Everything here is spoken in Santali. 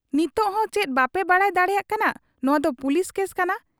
ᱱᱤᱱᱟᱹᱜ ᱦᱚᱸ ᱪᱮᱫ ᱵᱟᱯᱮ ᱵᱟᱰᱟᱭ ᱫᱟᱲᱮᱭᱟᱜ ᱠᱟᱱᱟ ᱱᱚᱶᱟᱫᱚ ᱯᱩᱞᱤᱥ ᱠᱮᱥ ᱠᱟᱱᱟ ᱾